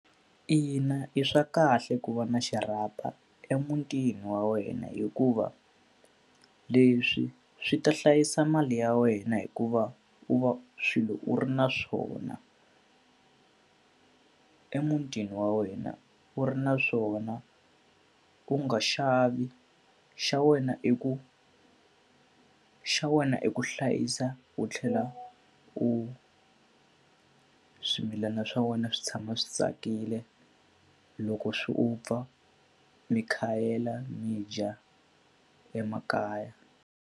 Ina, i swa kahle ku va na xirhapa emutini wa wena hikuva, leswi swi ta hlayisa mali ya wena hikuva u va swilo u ri na swona emutini wa wena. U ri na swona, u nga xavi, xa wena i ku xa wena i ku hlayisa u tlhela u swimilana swa wena swi tshama swi tsakile. Loko swi u pfa mi khayela mi dya emakaya.